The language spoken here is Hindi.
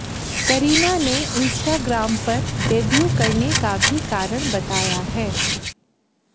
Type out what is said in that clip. करीना ने इंस्टाग्राम पर डेब्यू करने का भी कारण बताया है